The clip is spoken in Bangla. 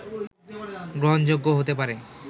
গ্রহণযোগ্য হতে পারে